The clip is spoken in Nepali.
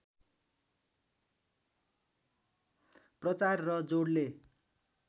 प्रचार र जोडले